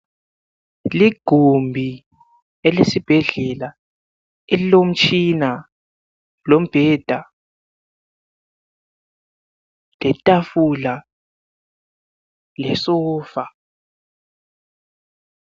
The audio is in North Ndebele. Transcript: Ligumbi elesibhedlela elilomtshina lombheda letafula lesofa.